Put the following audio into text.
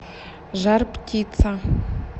жар птица